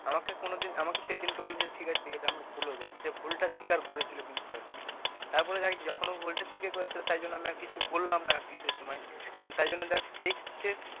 আমাকে কোনদিন আমাকে সেদিনকে বলেছে ঠিক আছে ঠিক আছে আমার ভুল হয়ে গেছে, ভুলটা স্বীকার করেছিল কিন্তু তারপরে, তারপরে দেখ তুই এখন ভুলটা স্বীকার করেছিল তাই জন্য আমি আর কিছু বললাম না আরকি সে সময়, তাই জন্য দেখ সেই সে,